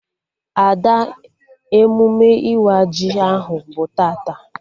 Ada, emume ịwa ji ahụ bụ tata